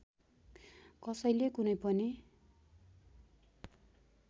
कसैले कुनै पनि